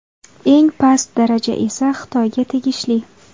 Eng past daraja esa Xitoyga tegishli.